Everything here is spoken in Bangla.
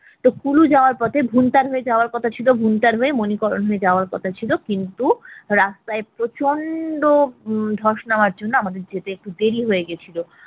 তো কুলু যাওয়ার পথে ভুন্টার হয়ে যাওয়ার কথা ছিল ভুন্টার হয়ে মনিকরণ এ যাওয়ার কথা ছিল কিন্তু রাস্তায় প্রচন্ড উম ধ্বস নামার জন্য আমাদের যেতে একটু দেরি হয়ে গেছিল